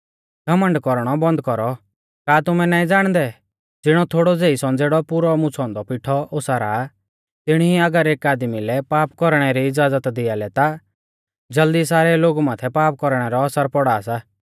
घमण्ड कौरणौ बन्द कौरौ का तुमै नाईं ज़ाणदै ज़िणौ थोड़ौ ज़ेई संज़ेड़ौ पुरौ मुछ़ौ औन्दौ पिठौ ओसारा तिणी ई अगर एक आदमी लै पाप कौरणै री इज़्ज़ाज़त दिया लै ता ज़ल्दी सारै लोगु माथै पाप कौरणै रौ असर पौड़ा सा